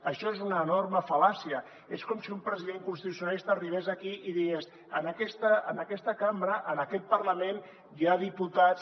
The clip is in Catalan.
això és una enorme fal·làcia és com si un president constitucionalista arribés aquí i digués en aquesta cambra en aquest parlament hi ha diputats